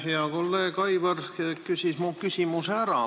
Hea kolleeg Aivar küsis mu küsimuse ära.